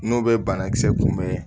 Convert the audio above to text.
N'o bɛ banakisɛ kunbɛn